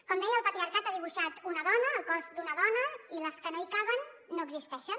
com deia el patriarcat ha dibuixat una dona el cos d’una dona i les que no hi caben no existeixen